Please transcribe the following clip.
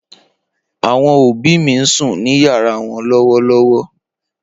Awọn obi mi n sun ni yara wọn lọwọlọwọ.